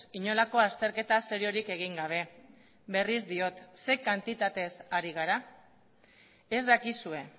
inolako azterketa seriorik egin gabe berriz diot ze kantitatez ari gara ez dakizue